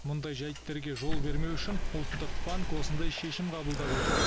мұндай жайттерге жол бермеу үшін ұлттық банк осындай шешім қабылдап отыр